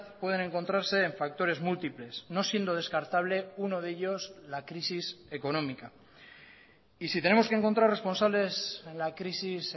pueden encontrarse en factores múltiples no siendo descartable uno de ellos la crisis económica y si tenemos que encontrar responsables en la crisis